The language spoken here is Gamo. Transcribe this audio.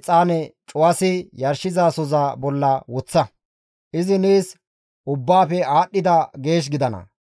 exaane cuwasi yarshizasoza bolla woththa. Izi nees ubbaafe aadhdhida geesh gidana.